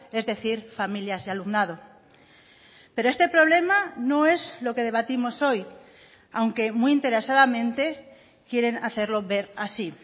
es decir familias y alumnado pero este problema no es lo que debatimos hoy aunque muy interesadamente quieren hacerlo ver así